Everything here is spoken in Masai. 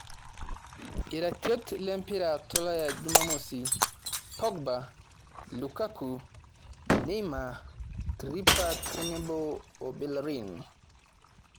Iratiot lempira tolaya Jumamosi; Pogba, Lukaku, Neima, Tripper tenebo o belerin